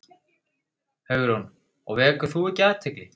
Hugrún: Og vekur þú ekki athygli?